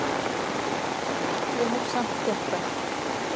Ég hef samt gert það.